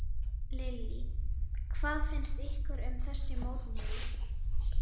Lillý: Hvað finnst ykkur um þessi mótmæli?